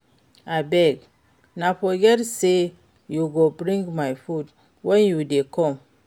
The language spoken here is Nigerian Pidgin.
Abeg, no forget sey you go bring my food wen you dey come.